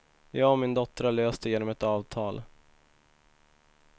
Jag och min dotter har löst det genom ett avtal.